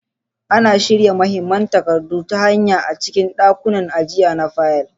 Ana shirya mahimman takardu ta hanya a cikin ɗakunan ajiya na fayil.